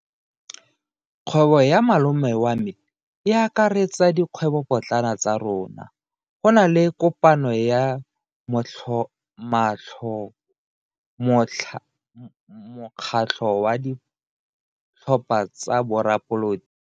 Kgwebo ya malome wa me e akaretsa dikgwebopotlana tsa rona. Go na le kopano ya mokgatlho wa ditlhopha tsa boradipolotiki.